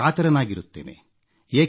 ನಾನು ಕಾತರನಾಗಿರುತ್ತೇನೆ